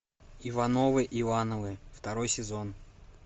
ивановы ивановы второй сезон